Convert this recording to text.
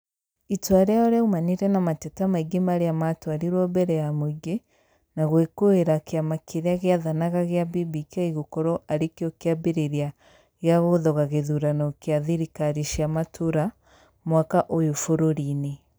Itua rĩao rĩaumanire na mateta maingĩ marĩa matwarirwo mbere ya muingĩ na gwĩkũira kĩama kĩrĩa gĩathanaga gia BBK gũkorwo arĩkio kĩambĩrĩria gĩa gũthoga gĩthurano kĩa thirikari cia matura mwaka ũyũ bũrũri-inĩ